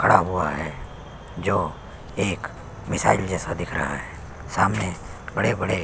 खड़ा हुआ है जो एक मिसाइल जैसा दिख रहा है सामने बड़े - बड़े --